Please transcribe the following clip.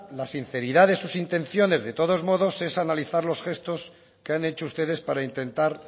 la sinceridad de sus intenciones de todos modos es analizar los gestos que han hecho ustedes para intentar